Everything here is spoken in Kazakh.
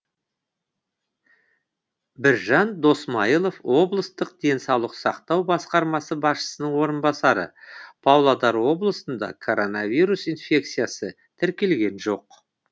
біржан досмайылов облыстық денсаулық сақтау басқармасы басшысының орынбасары павлодар облысында коронавирус инфекциясы тіркелген жоқ